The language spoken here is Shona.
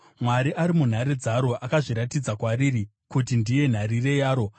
Mwari ari munhare dzaro; akazviratidza kwariri kuti ndiye nharirire yaro.